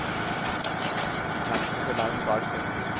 De kan ikke se land bak seg.